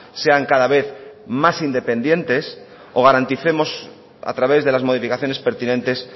sean cada vez más independientes o garanticemos a través de las modificaciones pertinentes